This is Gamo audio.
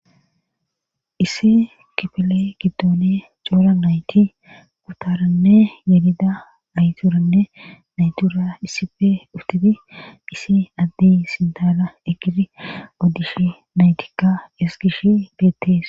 Issi kipele giddone coora nayti kutaranne yedida ayturanne naytura issife utidi isi addi sindala ekiri oddish naytikka esgish beettees.